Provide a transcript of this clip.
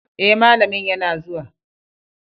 Eh malamin yana zuwa.